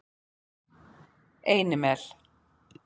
Einimel